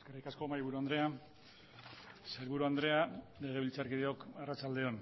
eskerrik asko mahaiburu andrea sailburu andrea legebiltzarkideok arratsalde on